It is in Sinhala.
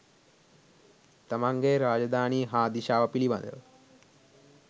තමන්ගේ රාජධානිය හා දිශාව පිළිබදව